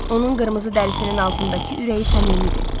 Onun qırmızı dərisinin altındakı ürəyi səmimidir.